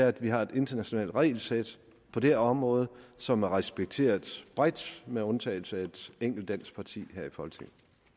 at vi har et internationalt regelsæt på det her område som er respekteret bredt med undtagelse af et enkelt dansk parti